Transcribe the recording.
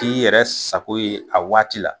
K'i yɛrɛ sako ye a waati la.